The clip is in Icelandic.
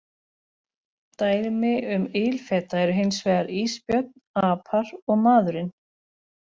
Dæmi um ilfeta eru hins vegar ísbjörn, apar og maðurinn.